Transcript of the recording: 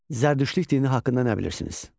Zərdüştlük dini haqqında nə bilirsiniz?